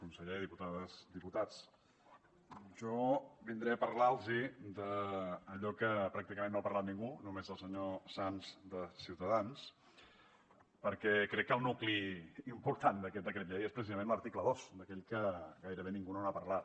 conseller diputades i diputats jo vindré a parlar los d’allò que pràcticament no ha parlat ningú només el senyor sanz de ciutadans perquè crec que el nucli important d’aquest decret llei és precisament l’article dos d’aquell que gairebé ningú no n’ha parlat